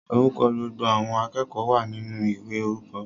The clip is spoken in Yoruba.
Orúkọ gbogbo àwọn akẹ́kọ̀ọ́ wa ninu ìwé orúkọ.